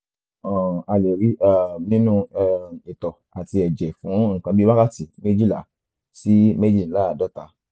um a lè rí i um nínú um itọ́ àti ẹ̀jẹ̀ fún nǹkan bí wákàtí méjìlá sí méjìdínláàádọ́ta